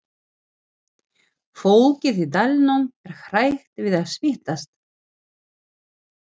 Fólkið í dalnum er hrætt við að smitast.